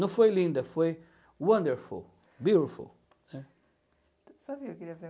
Não foi linda, foi wonderful, beautiful, né? Sabe eu queria ver